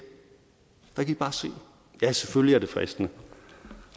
ja selvfølgelig er det fristende